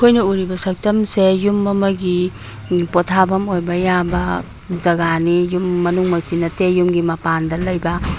ꯑꯩꯈꯣꯏꯅ ꯎꯔꯤꯕ ꯁꯛꯇꯝꯁꯦ ꯌꯨꯝ ꯑꯃꯒꯤ ꯑꯝ ꯄꯣꯊꯥꯐꯝ ꯑꯣꯏꯕ ꯌꯥꯕ ꯖꯒꯥꯅꯤ ꯌꯨꯝ ꯃꯅꯨꯡ ꯃꯛꯇꯤ ꯅꯠꯇꯦ ꯌꯨꯝꯒꯤ ꯃꯄꯥꯟꯗ ꯂꯩꯕ --